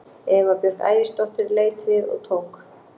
Eva Björk Ægisdóttir leit við og tók